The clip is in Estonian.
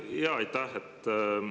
Jaa, aitäh!